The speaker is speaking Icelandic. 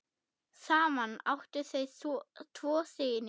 Saman áttu þau tvo syni.